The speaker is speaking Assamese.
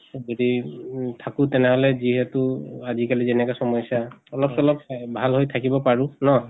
যদি উম থাকো তেনেহলে যিহেতু আজি কালি যেনেকা চমস্য়া অলপ চলপ ভাল হৈ থাকিব পাৰো ন?